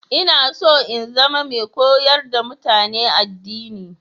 Ina so in zama mai koyar da mutane addini